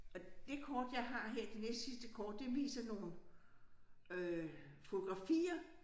Og det kort jeg har her det næstsidste kort det viser nogle øh fotografier